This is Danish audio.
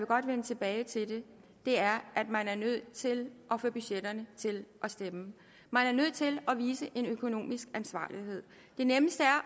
godt vende tilbage til er at man er nødt til at få budgetterne til at stemme man er nødt til at vise en økonomisk ansvarlighed det nemmeste er